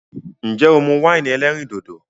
Nje o mu win elerin dodo?